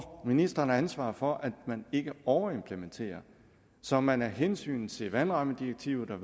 ministeren har ansvar for at man ikke overimplementerer så man af hensyn til vandrammedirektivet